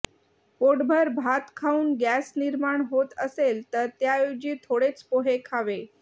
पोटभर भात खाऊन गॅस निर्माण होत असेल तर त्याऐवजी थोडेच पोहे खावे